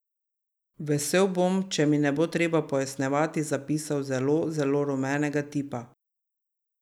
Vesel bom, če mi ne bo treba pojasnjevati zapisov zelo, zelo rumenega tipa.